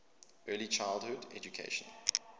early childhood education